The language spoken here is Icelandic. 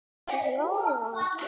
Ég fór fram á gang.